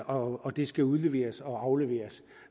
og det skal udleveres og afleveres